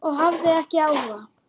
Og hafði ekki áhuga.